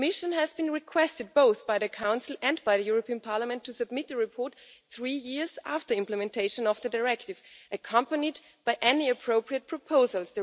The Commission has been requested both by the Council and by the European Parliament to submit a report three years after implementation of the Directive, accompanied by any appropriate proposals.